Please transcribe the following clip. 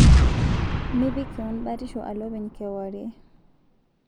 Mipik keon batisho alo openy kewarie